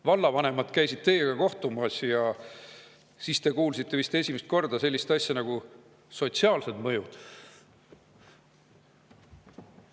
Vallavanemad käisid teiega kohtumas ja siis te kuulsite vist esimest korda sellisest asjast nagu sotsiaalsed mõjud.